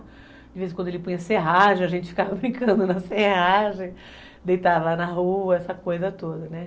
De vez em quando ele punha serragem, a gente ficava brincando na serragem, deitava lá na rua, essa coisa toda, né?